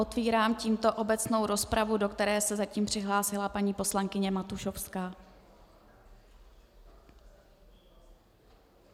Otevírám tímto obecnou rozpravu, do které se zatím přihlásila paní poslankyně Matušovská.